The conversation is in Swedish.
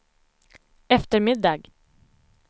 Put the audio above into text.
eftermiddag